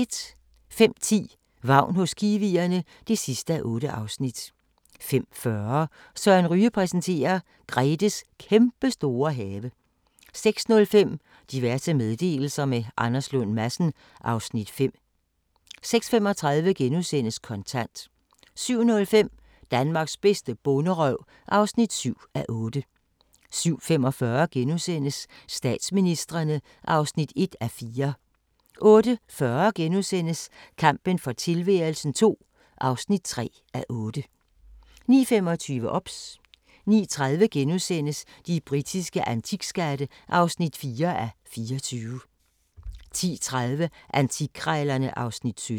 05:10: Vagn hos kiwierne (8:8) 05:40: Søren Ryge præsenterer: Gretes kæmpestore have 06:05: Diverse meddelelser – med Anders Lund Madsen (Afs. 5) 06:35: Kontant * 07:05: Danmarks bedste bonderøv (7:8) 07:45: Statsministrene (1:4)* 08:40: Kampen for tilværelsen II (3:8)* 09:25: OBS 09:30: De britiske antikskatte (4:24)* 10:30: Antikkrejlerne (Afs. 17)